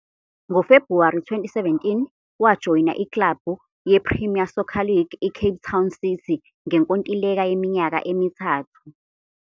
NgoFebhuwari 2017, wajoyina iklabhu yePremier Soccer League iCape Town City ngenkontileka yeminyaka emithathu.